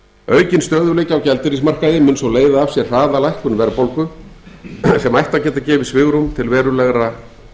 stöðugleiki á gjaldeyrismarkaði mun svo leiða af sér hraða lækkun verðbólgu sem ætti að geta gefið svigrúm til verulegra